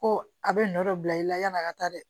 Ko a bɛ nɔ dɔ bila i la yan'a ka taa dɛ